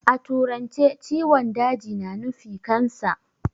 A turance ciwon daji na nufi "Cancer".